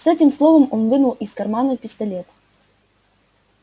с этим словом он вынул из кармана пистолет